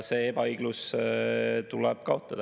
See ebaõiglus tuleb kaotada.